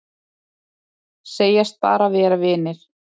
Segjast bara vera vinir